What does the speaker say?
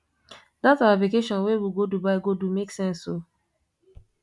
dat our vacation wey we go dubai go do make sense o